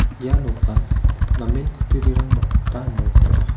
ia nokan namen kutturirang banggipa nok ong·a.